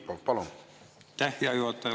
Aitäh, hea juhataja!